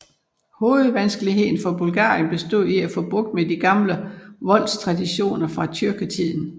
Hovedvanskeligheden for Bulgarien bestod i at få bugt med de gamle voldstraditioner fra tyrkertiden